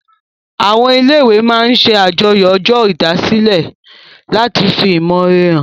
Àwọn ilé-ìwé máa n ṣe àjọyọ̀ ọjọ́ olùdásílẹ̀ láti fi ìmọ̀ore hàn